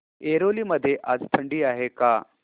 ऐरोली मध्ये आज थंडी आहे का